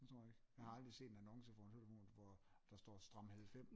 Det tror jeg ikke jeg har aldrig set en annonce hvor der står stram 90